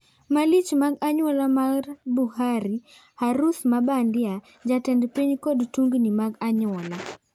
Malich mag anyuola mar Buhari:Harus mabandia, Jtend piny kod tungni mag anyuola.